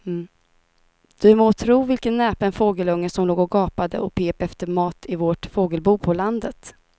Du må tro vilken näpen fågelunge som låg och gapade och pep efter mat i vårt fågelbo på landet.